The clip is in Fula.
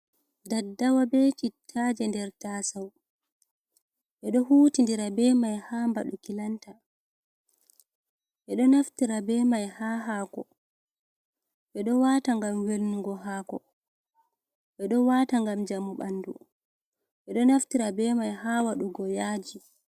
Daddawa be cittaje nder tasau edo hutin ndira be mai ha mbadu kilanta edo naftira be mai ha hako edo wata ngam welnugo hako edo wata ngam jamu bandu edo naftira be mai ha wadugo yaji.